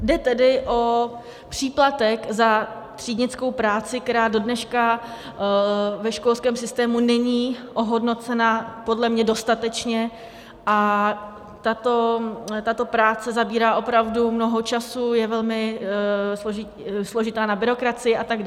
Jde tedy o příplatek za třídnickou práci, která dodneška ve školském systému není ohodnocena podle mě dostatečně, a tato práce zabírá opravdu mnoho času, je velmi složitá na byrokracii atd.